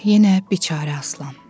Yenə biçara Aslan.